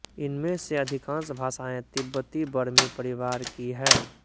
इनमें से अधिकांश भाषाएँ तिब्बतीबर्मी परिवार की हैं